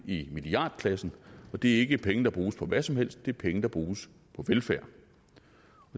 i milliardklassen og det er ikke penge der bruges på hvad som helst det er penge der bruges på velfærd